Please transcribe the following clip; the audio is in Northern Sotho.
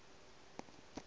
a re ge a le